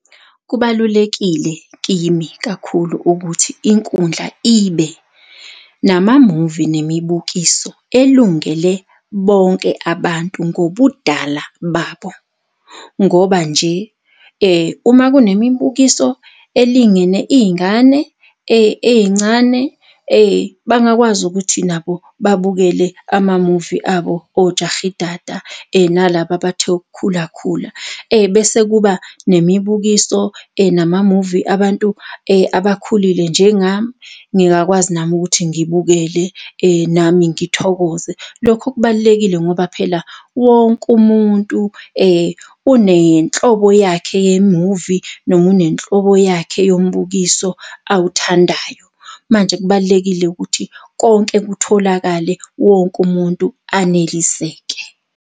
Kubalulekile kimi kakhulu ukuthi inkundla ibe namamuvi nemibukiso elungele bonke abantu ngobudala babo, ngoba nje uma kunemibukiso elingene iy'ngane ey'ncane, bangakwazi ukuthi nabo babukele amamuve abo oJahidada nalaba abathe ukukhulakhula bese kuba nemibukiso namamuvi abantu abakhulile njengami. Ngingakwazi nami ukuthi ngibukele, nami ngithokoze. Lokho kubalulekile ngoba phela wonke umuntu unenhlobo yakhe yemuvi noma unenhlobo yakhe yombukiso awuthandayo. mMnje kubalulekile ukuthi konke kutholakale, wonke umuntu aneliseke.